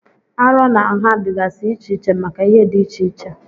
Arọ na nha dịgasị iche iche maka ihe dị iche iche.